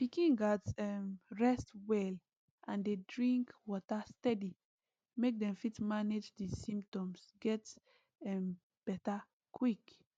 pikin gatz um rest well and dey drink water steady make dem fit manage di symptoms get um beta quick